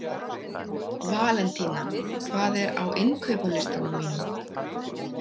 Valentína, hvað er á innkaupalistanum mínum?